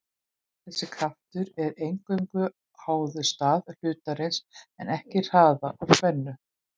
Þessi kraftur er eingöngu háður stað hlutarins en ekki hraða eða stefnu.